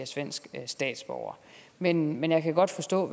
svensk statsborger men men jeg kan godt forstå